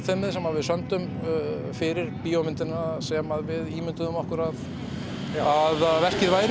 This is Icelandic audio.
við sömdum fyrir bíómyndina sem við ímynduðum okkur að að verkið væri